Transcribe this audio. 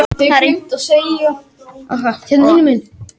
Það er eitt þekktasta og mest rannsakaða sveppaeitrið sem vitað er um í dag.